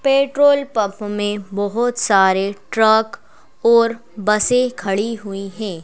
Petrol pump में बहुत सारे ट्रक और बसें खड़ी हुई हैं।